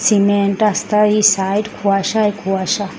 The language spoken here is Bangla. সিমেন্ট রাস্তার এই সাইড কুয়াশায় কুয়াশা।